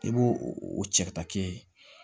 I b'o o cɛ ka taa kɛ ye